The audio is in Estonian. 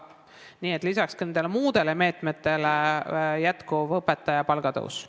Nii et lisaks muudele meetmetele peab jätkuma õpetaja palga tõus.